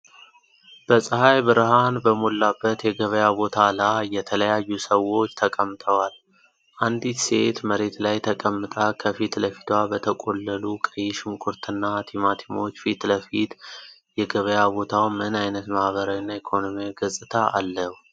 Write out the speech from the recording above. በፀሐይ ብርሃን በሞላበት የገበያ ቦታ ላይ የተለያዩ ሰዎች ተቀምጠዋል። አንዲት ሴት መሬት ላይ ተቀምጣ ከፊት ለፊቷ በተቆለሉ ቀይ ሽንኩርትና ቲማቲሞች ፊት ለፊት፣ የገበያ ቦታው ምን ዓይነት ማህበራዊና ኢኮኖሚያዊ ገፅታ አለው?